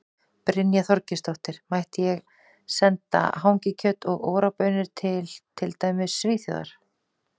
Brynja Þorgeirsdóttir: Mætti ég senda hangikjöt og Ora baunir til, til dæmis Svíþjóðar?